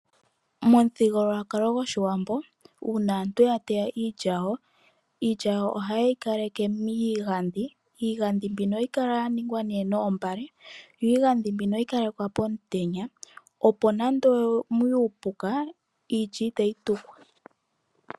Momuthigululwakalo goshiwambo uuna aantu ya teya iilya yawo, iilya yawo ohayeyi kaleke miigandhi. Iigandhi mbino ohayi kala yaningwa noombale yo iigandhi mbino ohayi kalekwa pomutenya opo nande omuye uupuka iilya itayi tukwa.